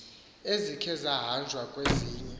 ezikhe zahanjwa kwezinye